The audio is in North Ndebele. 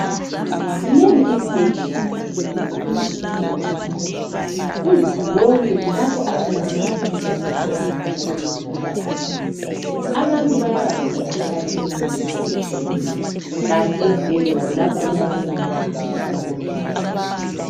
Zinengi izibhedlela lamakilinika kwelakithi ele Zimbabwe uzulu wonke kulapho atholakala usizo khona oluphathelane lezempilakahle. Abantu bayabanjwa yimikhuhlane eminengi nengi etshiyeneyo kanti ezibhedlela kulapho okulabo mongi labomongikazi.